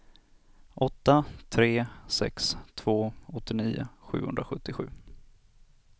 åtta tre sex två åttionio sjuhundrasjuttiosju